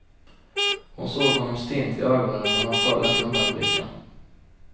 Hon såg honom stint i ögonen men han föll inte undan med blicken.